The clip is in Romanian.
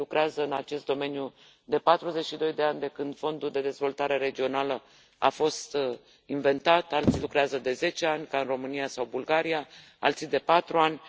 unii lucrează în acest domeniu de patruzeci și doi de ani, de când Fondul de dezvoltare regională a fost inventat, alții lucrează de zece ani, ca în România sau Bulgaria, alții de patru ani.